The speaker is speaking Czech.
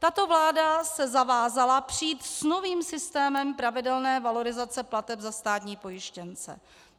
Tato vláda se zavázala přijít s novým systémem pravidelné valorizace plateb za státní pojištěnce.